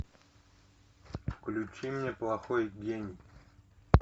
включи мне плохой день